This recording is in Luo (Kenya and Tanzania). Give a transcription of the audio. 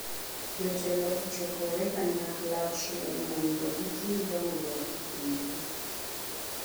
Jotelo ochokore kanyachiel mondo gitim dongruok e pinjegi.